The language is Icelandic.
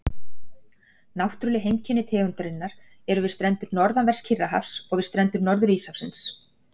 Náttúrleg heimkynni tegundarinnar eru við strendur norðanverðs Kyrrahafs og við strendur Norður-Íshafsins.